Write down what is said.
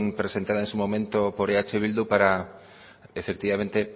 presentada en su momento por eh bildu para efectivamente